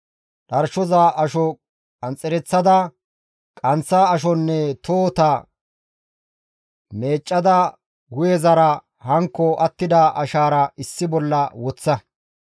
Dharshoza asho qanxxereththada, qanththa ashonne tohota meeccada hu7ezaranne hankko attida ashaara issi bolla woththa.